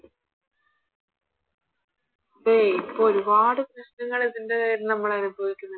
അതെ ഇപ്പൊ ഒരുപാട് പ്രശ്നങ്ങള് ഇതിൻറെ പേരില് നമ്മളനുഭവിക്കുന്നുണ്ട്